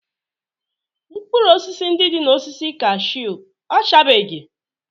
Mkpụrụ osisi ndị dị n'osisi cashew ọchabeghị?